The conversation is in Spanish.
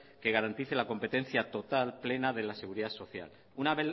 que garantice la competencia total plena de la seguridad social una